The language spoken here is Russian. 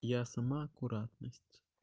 я сама аккуратность